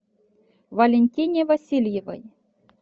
валентине васильевой